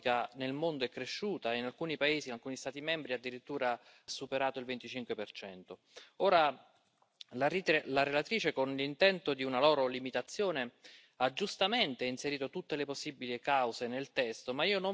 Il faut donc le proscrire. Nous incitons donc fermement l'Union européenne à se mettre en cohérence avec la réalité des faits, en incitant aux bonnes pratiques, mais surtout en contrôlant ses frontières et en révisant ses traités.